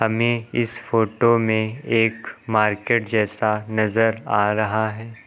हमें इस फोटो में एक मार्केट जैसा नजर आ रहा है।